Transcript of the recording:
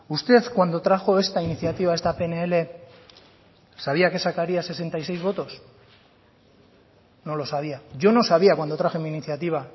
usted cuando trajo esta iniciativa esta pnl sabía que salvaría sesenta y seis votos no lo sabía yo no sabía cuándo traje mi iniciativa